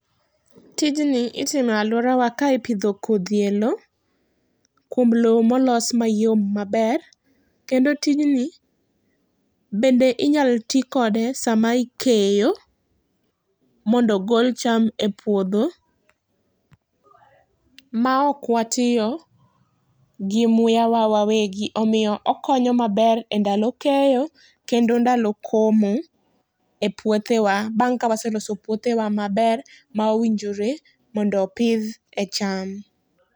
Tijni itimo e aluorawa ka ipidho kodhi e loo, kuom loo ma olosi mayom maber, kendo tijni bende inya ti kode sa ma ikeyo mondo ogol cham e puodho ma ok watiyo gi muya wa wawegi .Omiyo okonyo maber e ndalo keyo kod ndalo komo e puothe wa ,bang' ka weseloso puothe wa maber ma owinjore mondo opidh e cham.